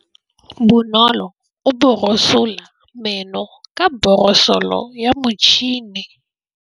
Bonolô o borosola meno ka borosolo ya motšhine.